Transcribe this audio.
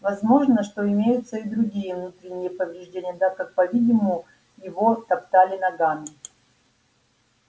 возможно что имеются и другие внутренние повреждения так как по видимому его топтали ногами